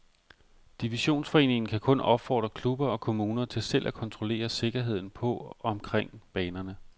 Divisionsforeningen kan kun opfordre klubber og kommuner til selv at kontrollere sikkerheden på omkring banerne.